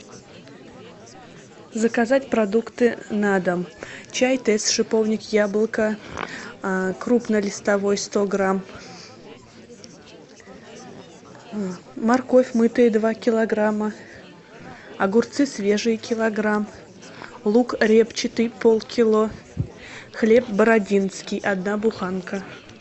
заказать продукты на дом чай тесс шиповник яблоко крупнолистовой сто грамм морковь мытая два килограмма огурцы свежие килограмм лук репчатый полкило хлеб бородинский одна буханка